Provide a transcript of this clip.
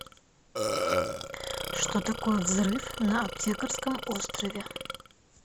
что такое взрыв на аптекарском острове